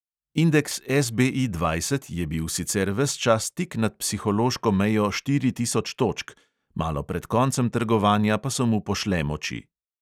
Indeks SBI dvajset je bil sicer ves čas tik nad psihološko mejo štiri tisoč točk, malo pred koncem trgovanja pa so mu pošle moči.